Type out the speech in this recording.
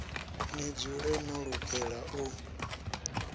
ḽi dzule ḽo lugela u